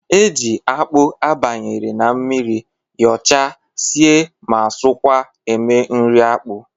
E ji akpụ abanyere n'mmiri, yọọcha, sie ma sọọkwa eme nri akpụ.